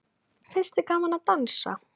Finnst þér gaman að dansa?